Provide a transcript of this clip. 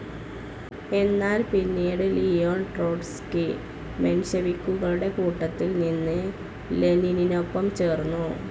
എന്നാൽ പിന്നീട് Leon Trotsky മെൻഷെവിക്കുകളുടെ കൂട്ടത്തിൽ നിന്ന് ലെനിനൊപ്പം ചേർന്നു.